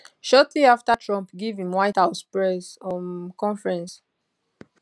shortly afta trump give im white house press um conference